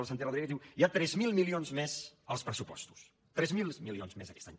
el santi rodríguez diu hi ha tres mil milions més als pressupostos tres mil milions més aquest any